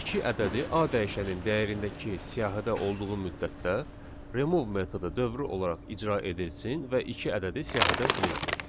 iki ədədi a dəyişənin dəyərindəki siyahıda olduğu müddətdə remove metodu dövrü olaraq icra edilsin və iki ədədi siyahıdan silinsin.